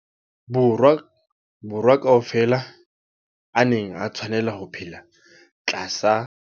Borwa ka ofela a neng a tshwanela ho phela tlasa